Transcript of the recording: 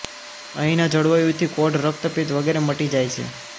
અહીંનાં જળવાયુથી કોઢ રક્તપિત્ત વગેરે મટી જાય છે